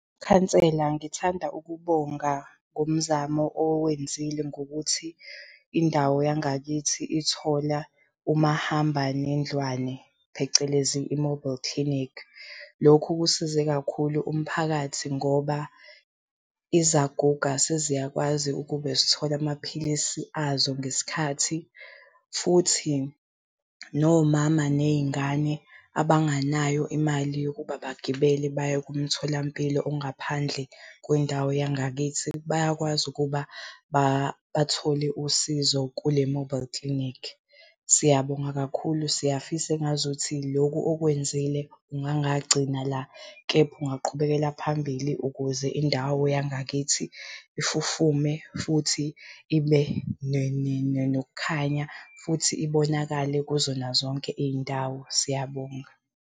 Khansela, ngithanda ukubonga ngomzamo owenzile ngokuthi indawo yangakithi ithola umahambanendlwane phecelezi i-mobile clinic. Lokhu kusize kakhulu umphakathi ngoba izaguga seziyakwazi ukube zithola amaphilisi azo ngesikhathi, futhi nomama ney'ngane abanganayo imali yokuba bagibele baye kumtholampilo ongaphandle kwindawo yangakithi, bayakwazi ukuba bathole usizo kule-mobile clinic. Siyabonga kakhulu, siyafisa engazuthi lokhu okwenzile kungangagcina la, kepha ungaqhubekela phambili ukuze indawo yangakithi ifufume futhi ibe nokukhanya futhi ibonakale kuzona zonke iy'ndawo. Siyabonga.